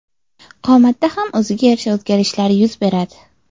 Qomatda ham o‘ziga yarasha o‘zgarishlar yuz beradi.